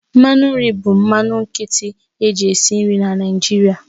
Mmanụ nri bụ mmanụ nkịtị eji esi nri na Naịjirịa